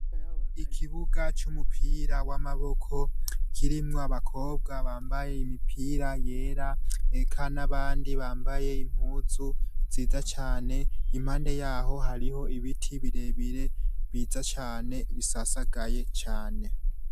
Ikibuga c'umupira w'amaboko kirimwo abakobwa bambaye imipira yera, eka n'abandi bambaye impuzu nziza cane. Impande yaho hariho ibiti birebire vyiza cane, bisasagaye cane.